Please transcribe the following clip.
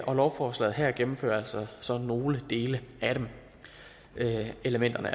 og lovforslaget her gennemfører altså så nogle dele af elementerne